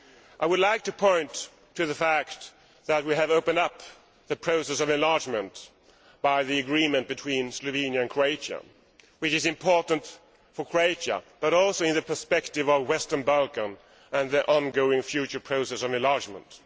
I would like to point to the fact that we have opened up the process of enlargement by the agreement between Slovenia and Croatia, which is important for Croatia, but also in the perspective of the Western Balkans and their ongoing future process of enlargement.